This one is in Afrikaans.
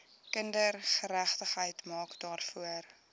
kindergeregtigheid maak daarvoor